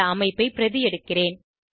இந்த அமைப்பை பிரதி எடுக்கிறேன்